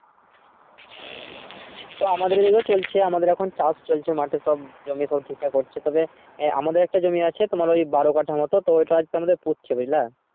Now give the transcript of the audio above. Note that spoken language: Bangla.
ও তো আমাদের দিকেও চলছে আমাদের এখন চাষ চলছে মাঠে সব জমির সব ঠিক ঠাক করছে তবে আমাদের একটা জমি আছে তোমার ওই বারো কাঠা মতো তো এটা আমাদের পুঁতছে বুঝলা